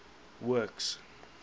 works